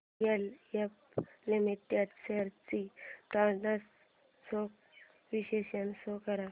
DLF limited shares trends चे विश्लेषण show कर